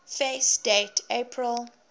fact date april